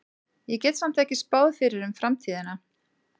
Ég get samt ekki spáð fyrir um framtíðina.